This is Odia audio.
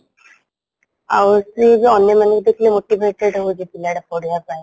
ଆଉ ସେ ଯୋଉ ଅନ୍ୟମାନଙ୍କୁ ଦେଖିଲେ motivated ହଉଛି ପିଲାଟା ପଢିବା ପାଇଁ